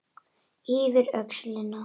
Yfir öxlina.